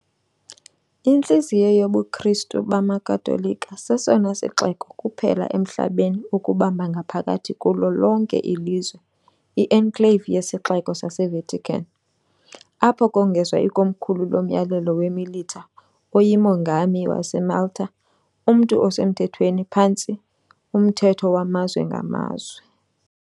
Intliziyo yobuKristu bamaKatolika, sesona sixeko kuphela emhlabeni ukubamba ngaphakathi kulo lonke ilizwe, i -enclave yeSixeko saseVatican , apho kongezwa ikomkhulu loMyalelo weMilita oyiMongami waseMalta, umntu osemthethweni phantsi umthetho wamazwe ngamazwe.